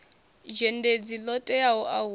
dzhendedzi ḽo teaho a huna